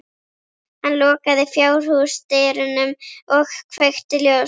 Hann lokaði fjárhúsdyrunum og kveikti ljós.